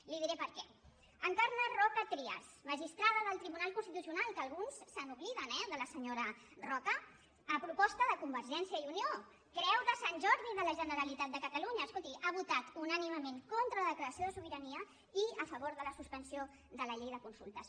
li diré per què encarna roca trias magistrada del tribunal constitucional que alguns se n’obliden eh de la senyora roca a proposta de convergència i unió creu de sant jordi de la generalitat de catalunya escolti ha votat unànimement contra la declaració de sobirania i a favor de la suspensió de la llei de consultes